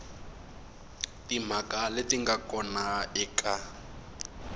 timhaka leti nga kona eka